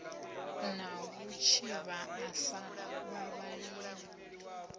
na vhutshivha a sa vhavhaleli